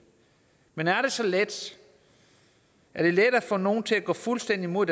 men er det så let er det let at få nogen til at gå fuldstændig imod